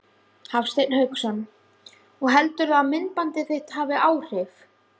Hafsteinn Hauksson: Og heldurðu að myndbandið þitt hafi áhrif?